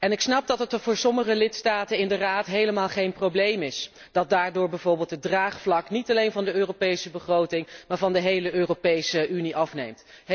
Ik snap dat het voor sommige lidstaten in de Raad helemaal geen probleem is dat daardoor bijvoorbeeld het draagvlak, niet alleen voor de Europese begroting, maar van de hele Europese Unie afneemt.